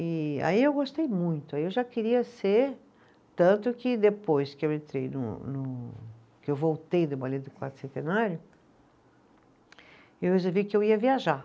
E aí eu gostei muito, aí eu já queria ser, tanto que depois que eu entrei no no, que eu voltei, eu resolvi que eu ia viajar.